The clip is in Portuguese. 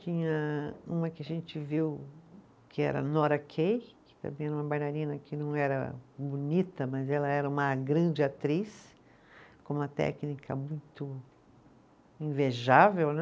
Tinha uma que a gente viu, que era a Nora Kay, que também era uma bailarina que não era bonita, mas ela era uma grande atriz, com uma técnica muito invejável, né?